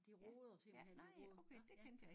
De roder simpelthen de roder nå ja